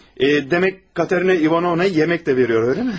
Hə, demək Katerina İvanovna yemək də veriyor, eləmi?